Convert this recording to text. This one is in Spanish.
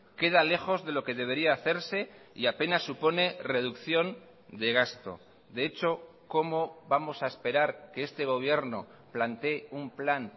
queda lejos de lo que debería hacerse y apenas supone reducción de gasto de hecho cómo vamos a esperar que este gobierno plantee un plan